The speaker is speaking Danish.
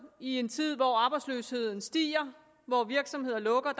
i en tid hvor arbejdsløsheden stiger hvor virksomheder lukker